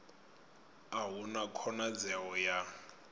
a hu na khonadzeo ya